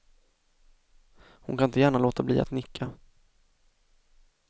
Hon kan inte gärna låta bli att nicka.